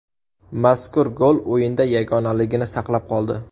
Mazkur gol o‘yinda yagonaligini saqlab qoldi.